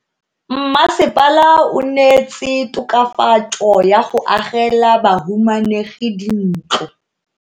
Mmasepala o neetse tokafatso ka go agela bahumanegi dintlo.